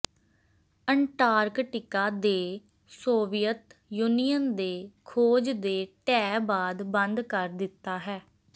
Antarctica ਦੇ Soviet Union ਦੇ ਖੋਜ ਦੇ ਢਹਿ ਬਾਅਦ ਬੰਦ ਕਰ ਦਿੱਤਾ ਹੈ